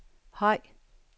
høj